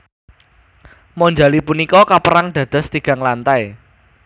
Monjali punika kapérang dados tigang lantai